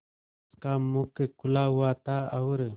उसका मुख खुला हुआ था और